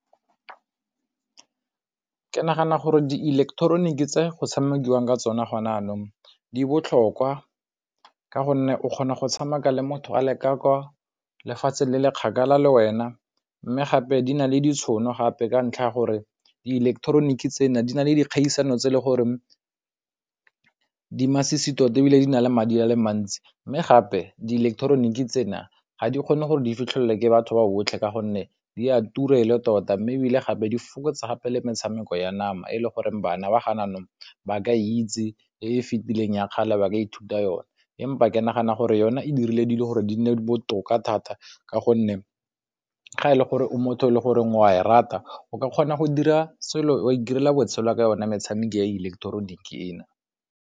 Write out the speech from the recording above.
Ke nagana gore di ileketeroniki tse go tshamekiwang ka tsona gone jaanong di botlhokwa ka gonne o kgona go tshameka le motho a leka ka kwa lefatshe le le kgakala le wena mme ka gape di na le ditšhono gape ka ntlha ya gore di ileketeroniki tsena di na le dikgaisano tse le gore di masisi tota ebile di na le madi a le mantsi mme gape di ileketeroniki tsena ga di kgone gore di fitlhelele ke batho ba botlhe ka gonne di a tura e le tota mme ebile gape di fokotsa gape le metshameko ya nama e le goreng bana ba gona jaanong ba ka itse e e fetileng ya kgale ba ka ithuta yone empa ke ke nagana gore yona e dirile dilo gore di nne botoka thata ka gonne ga e le gore o motho e le goreng o a e rata o ka kgona wa itirela botshelo ka yona metshameko ya ileketeroniki e.